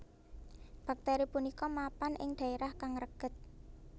Bakteri punika mapan ing daerah kang reged